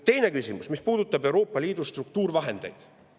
Teine küsimus puudutab Euroopa Liidu struktuurivahendeid.